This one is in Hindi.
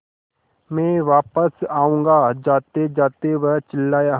मैं वापस आऊँगा जातेजाते वह चिल्लाया